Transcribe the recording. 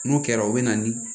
N'o kɛra o bɛ na ni